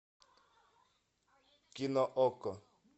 кино окко